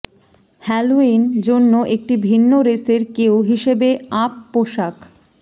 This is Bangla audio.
হ্যালোইন জন্য একটি ভিন্ন রেস এর কেউ হিসাবে আপ পোষাক